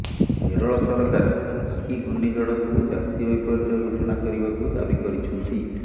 କେରଳ ସରକାର ଓଖି ଘୂର୍ଣ୍ଣିଝଡକୁ ଜାତୀୟ ବିପର୍ଯ୍ୟୟ ଘୋଷଣା କରିବାକୁ ଦାବି କରିଛନ୍ତି